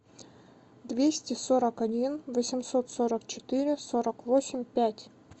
двести сорок один восемьсот сорок четыре сорок восемь пять